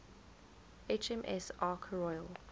hms ark royal